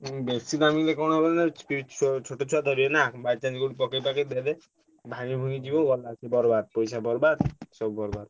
ଉଁ ବେଶି ଦାମ୍ କିଣିଲେ କଣ ହେବ ନାଁ ଛୋଟ ଛୁଆ ଧରିବେ ନା by chance କୋଢେ ଯଦି ପକେଇ ପକାଇ ଦେବେ ଭାଙ୍ଗି ଭୁଙ୍ଗି ଯିବ ଗଲା ସେ ପଇସା ବରବାଦ ସବୁ ବରବାଦ।